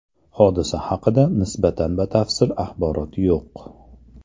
Hodisa haqida nisbatan batafsil axborot yo‘q.